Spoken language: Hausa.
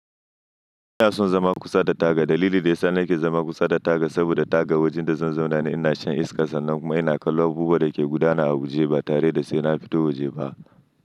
Ina son zama kusa da taga. Dalili da ya sa nake zama kusa da taga saboda taga wajen da zan zauna ne, ina shan iskar sa nan kuma ina kallon abubuwan da ke gudana a waje ba tare da sai na fito waje ba.